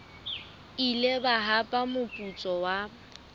ile ba hapa moputso wa